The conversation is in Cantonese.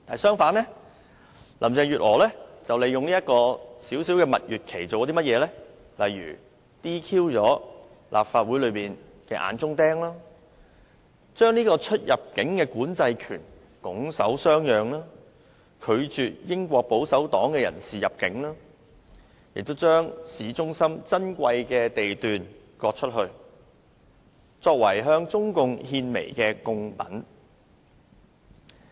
相反，林鄭月娥利用這段短暫蜜月期 ，"DQ" 立法會內的"眼中釘"，將出入境管制權拱手相讓，拒絕英國保守黨的人士入境，並將市中心珍貴地段割出，作為向中共獻媚的貢品。